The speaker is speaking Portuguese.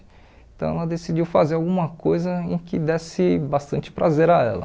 Então, ela decidiu fazer alguma coisa em que desse bastante prazer a ela.